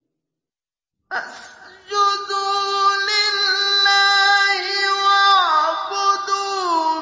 فَاسْجُدُوا لِلَّهِ وَاعْبُدُوا ۩